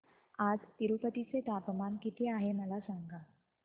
आज तिरूपती चे तापमान किती आहे मला सांगा